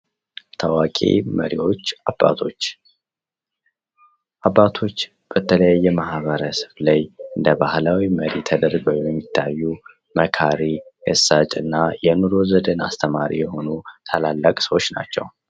ታዋቂ መሪዎች አባቶች የአንድ ማሂበረሰብ መሪዎች ሲሆኑ የአካባቢዉን ሰው ያሲተምራሉ